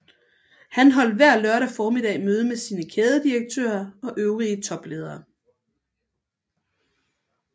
Han holdt hver lørdag formiddag møde med sine kædedirektører og øvrige topledere